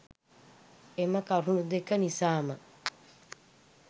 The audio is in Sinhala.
එම කරුනු දෙක නිසාම